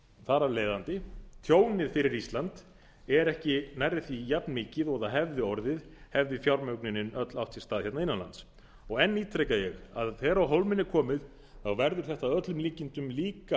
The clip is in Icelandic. þar af leiðandi tjónið fyrir ísland er ekki nærri því jafnmikið og það hefði orðið hefði fjármögnunin öll átt sér stað innan lands og enn ítreka ég að þegar á hólminn er komið verður þetta að öllum líkindum líka